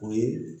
O ye